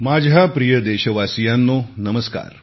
माझ्या प्रिय देशवासियांनो नमस्कार